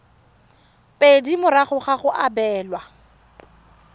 pedi morago ga go abelwa